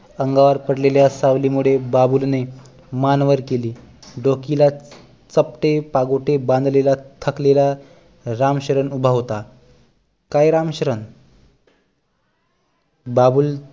अंगावर पडलेल्या सावली मुळे बाबूलने मान वर केली डोकीला चपटे पागोटे बांधलेला थकलेला रामशरण उभा होता काय रामशरण बाबूल